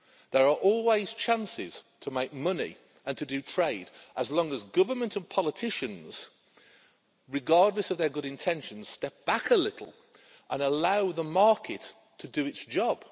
There are always chances to make money and to do trade as long as government and politicians, regardless of their good intentions, step back a little and allow the market to do its job.